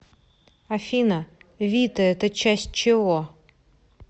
афина вита это часть чего